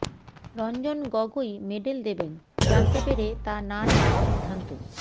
Ranjan Gogoi medal দেবেন জানতে পেরে তা না নেওয়ার সিদ্ধান্ত